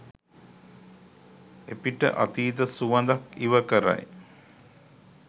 එපිට අතීත සුවඳක් ඉව කරයි